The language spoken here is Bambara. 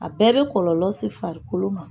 A bɛɛ bɛ kɔlɔlɔ se farikolo ma.